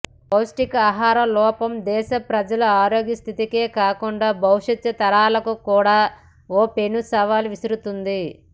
పౌష్టికా హార లోపం దేశ ప్రజల ఆరోగ్యస్థితికే కాకుండా భవిష్యత్తరాలకు కూడా ఓ పెనుసవాల్ విసు రుతోంది